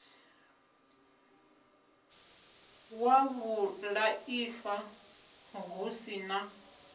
wa vhulaifa hu si na